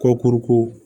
Kɔkuruko